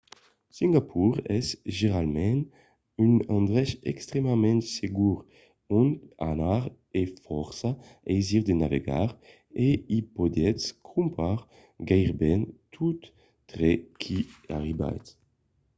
singapor es generalament un endrech extrèmament segur ont anar e fòrça aisir de navegar e i podètz crompar gaireben tot tre qu'i arribatz